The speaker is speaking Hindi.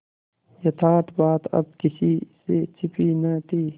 यथार्थ बात अब किसी से छिपी न थी